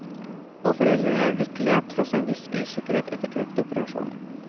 Og foreldrene er lykkelige, tross en viss usikkerhet etter kreftoperasjonen.